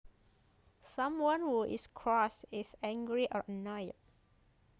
Someone who is cross is angry or annoyed